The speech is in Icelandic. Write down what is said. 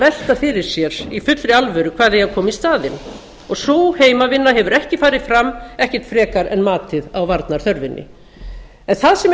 velta fyrir sér í fullri alvöru hvað eigi að koma í staðinn sú heimavinna hefur ekki farið fram ekkert frekar en matið á varnarþörfinni það sem er